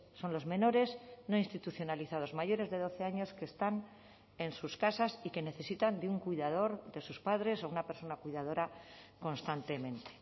son los menores no institucionalizados mayores de doce años que están en sus casas y que necesitan de un cuidador de sus padres o una persona cuidadora constantemente